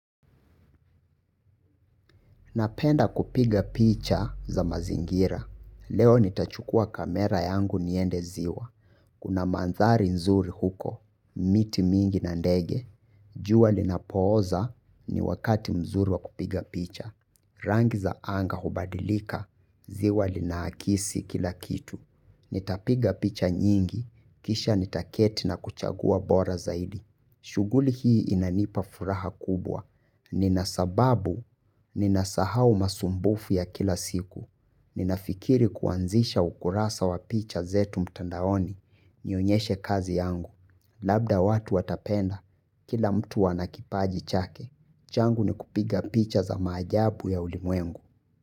Napenda kupiga picha za mazingira. Leo nitachukua kamera yangu niende ziwa. Kuna manthari nzuri huko, miti mingi na ndege. Jua linapooza ni wakati mzuri wa kupiga picha. Rangi za anga hubadilika, ziwa linaakisi kila kitu. Nitapiga picha nyingi, kisha nitaketi na kuchagua bora zaidi. Shuguli hii inanipa furaha kubwa. Ninasababu, ninasahau masumbufu ya kila siku. Ninafikiri kuanzisha ukurasa wa picha zetu mtandaoni, nionyeshe kazi yangu. Labda watu watapenda, kila mtu anakipaji chake. Changu ni kupiga picha za majabu ya ulimwengu.